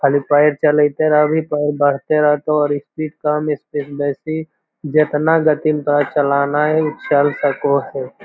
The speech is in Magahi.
खली पैर चलेइते रह भी ते और बढ़ते रहतो और स्पीड कम स्पीड बेसी जतना गति में तोरा चलाआना हेय उ चल सके होअ।